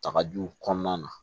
Takajuw kɔnɔna na